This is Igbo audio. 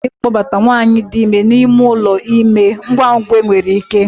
Ekwesịrị ịkpọbata nwanyị dị ime n'ime ụlọ ime ngwa ngwa enwere ike